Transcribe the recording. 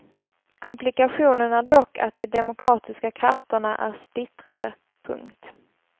Komplikationen är dock att de demokratiska krafterna är splittrade. punkt